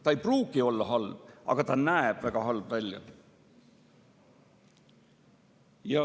See ei pruugi olla halb, aga see näeb väga halb välja.